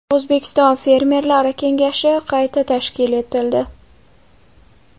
O‘zbekiston Fermerlari kengashi qayta tashkil etildi.